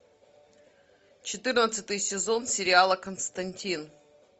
четырнадцатый сезон сериала константин